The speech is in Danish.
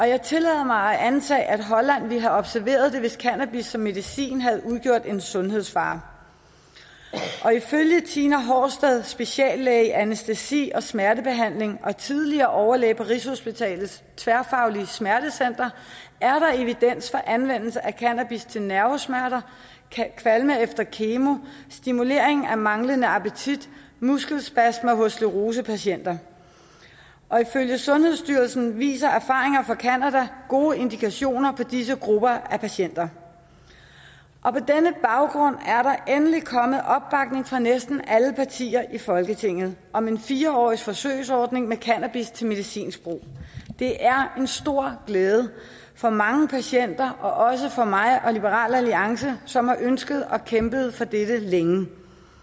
jeg tillader mig at antage at holland ville have observeret det hvis cannabis som medicin havde udgjort en sundhedsfare ifølge tina horsted speciallæge i anæstesi og smertebehandling og tidligere overlæge på rigshospitalets tværfagligt smertecenter er der evidens for anvendelse af cannabis til nervesmerter kvalme efter kemo stimulering af manglende appetit muskelspasmer hos sclerosepatienter ifølge sundhedsstyrelsen viser erfaringer fra canada gode indikationer på disse grupper af patienter på denne baggrund er der endelig kommet opbakning fra næsten alle partier i folketinget om en fire årig forsøgsordning med cannabis til medicinsk brug det er en stor glæde for mange patienter og også for mig og liberal alliance som har ønsket og kæmpet for dette længe